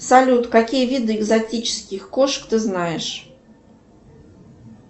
салют какие виды экзотических кошек ты знаешь